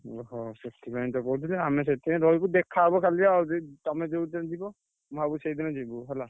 ଓ ହୋ ସେଥିପାଇଁ ତ କହୁଥିଲି ଆମେ ସେଥିପାଇଁ ରହିବୁ ଦେଖାହବ କାଲି ଆଉ ତମେ ଯୋଉ ଦିନ ଯିବ ମୁଁ ଭାବୁଛି ସେଇ ଦିନ ଯିବୁ ହେଲା।